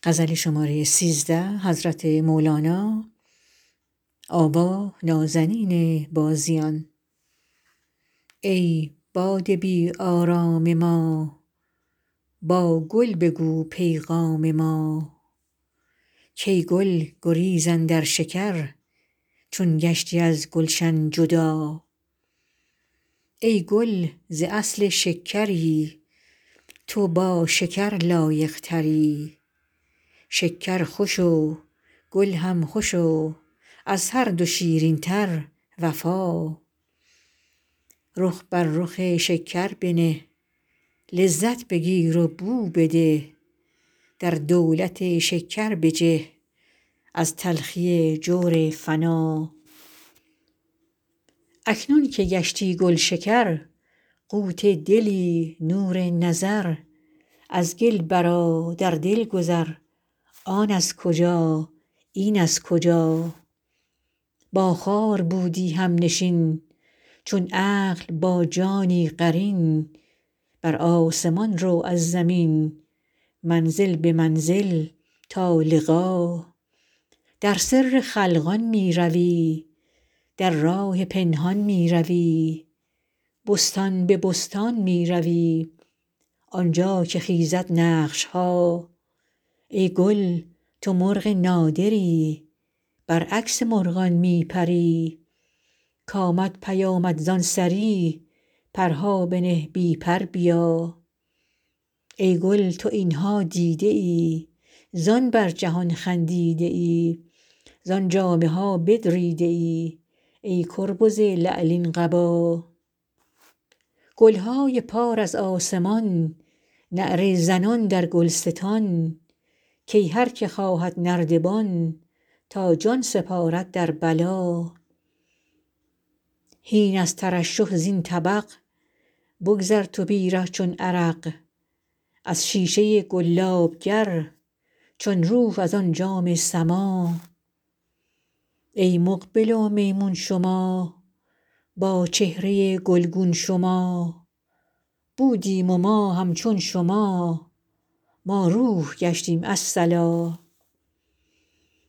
ای باد بی آرام ما با گل بگو پیغام ما کای گل گریز اندر شکر چون گشتی از گلشن جدا ای گل ز اصل شکری تو با شکر لایق تری شکر خوش و گل هم خوش و از هر دو شیرین تر وفا رخ بر رخ شکر بنه لذت بگیر و بو بده در دولت شکر بجه از تلخی جور فنا اکنون که گشتی گلشکر قوت دلی نور نظر از گل برآ بر دل گذر آن از کجا این از کجا با خار بودی همنشین چون عقل با جانی قرین بر آسمان رو از زمین منزل به منزل تا لقا در سر خلقان می روی در راه پنهان می روی بستان به بستان می روی آن جا که خیزد نقش ها ای گل تو مرغ نادری برعکس مرغان می پری کامد پیامت زان سری پرها بنه بی پر بیا ای گل تو این ها دیده ای زان بر جهان خندیده ای زان جامه ها بدریده ای ای کربز لعلین قبا گل های پار از آسمان نعره زنان در گلستان کای هر که خواهد نردبان تا جان سپارد در بلا هین از ترشح زین طبق بگذر تو بی ره چون عرق از شیشه گلاب گر چون روح از آن جام سما ای مقبل و میمون شما با چهره گلگون شما بودیم ما همچون شما ما روح گشتیم الصلا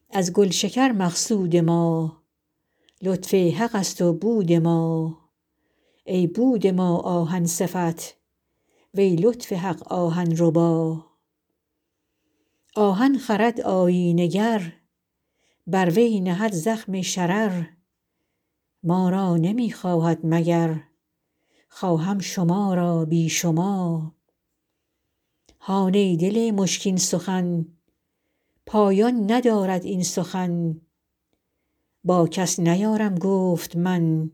از گلشکر مقصود ما لطف حق ست و بود ما ای بود ما آهن صفت وی لطف حق آهن ربا آهن خرد آیینه گر بر وی نهد زخم شرر ما را نمی خواهد مگر خواهم شما را بی شما هان ای دل مشکین سخن پایان ندارد این سخن با کس نیارم گفت من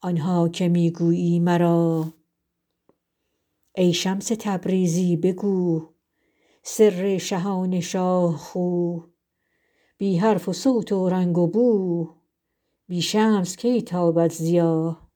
آن ها که می گویی مرا ای شمس تبریزی بگو سر شهان شاه خو بی حرف و صوت و رنگ و بو بی شمس کی تابد ضیا